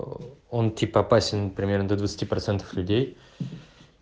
он типа опасен примерно для двадцати процентов людей